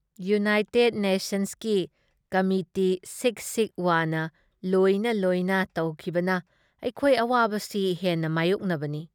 United ꯅꯦꯁꯟꯁꯀꯤ committee ꯁꯤꯛ ꯁꯤꯛ ꯋꯥꯅ ꯂꯣꯏꯅ ꯂꯣꯏꯅ ꯇꯧꯈꯤꯕꯅ ꯑꯩꯈꯣꯏ ꯑꯋꯥꯕꯁꯤ ꯍꯦꯟꯅ ꯃꯥꯏꯌꯣꯛꯅꯕꯅꯤ ꯫